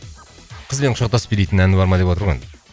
қызбен құшақтасып билейтін әні бар ма деп отыр ғой